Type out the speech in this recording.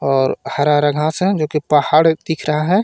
और हरा हरा घास हे जोकि पहाड़ दिख रहा हे.